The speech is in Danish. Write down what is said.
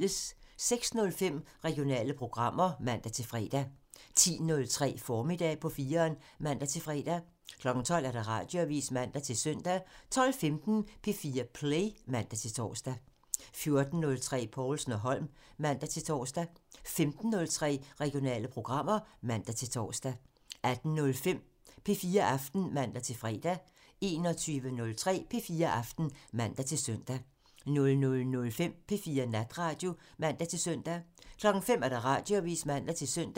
06:05: Regionale programmer (man-fre) 10:03: Formiddag på 4'eren (man-fre) 12:00: Radioavisen (man-søn) 12:15: P4 Play (man-tor) 14:03: Povlsen & Holm (man-tor) 15:03: Regionale programmer (man-tor) 18:05: P4 Aften (man-fre) 21:03: P4 Aften (man-søn) 00:05: P4 Natradio (man-søn) 05:00: Radioavisen (man-søn)